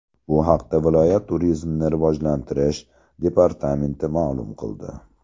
Bu haqda viloyat turizmni rivojlantirish departamenti ma’lum qildi .